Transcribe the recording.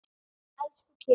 Elsku Keli.